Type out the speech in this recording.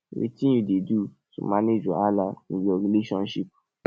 wetin you dey do to manage wahala in your relationships